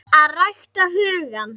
AÐ RÆKTA HUGANN